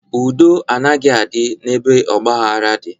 Udo anaghị adị n'ebe ọgbaghara dị.